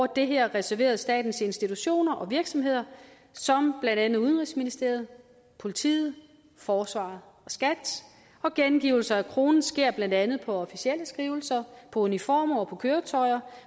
det her reserveret statens institutioner og virksomheder som blandt andet udenrigsministeriet politiet forsvaret og skat og gengivelse af kronen sker blandt andet på officielle skrivelser på uniformer og på køretøjer